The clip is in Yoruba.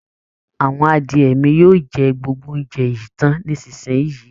Àwọn adiẹ mi yóò jẹ gbogbo óuńjẹ yìí tán nísisìnyìí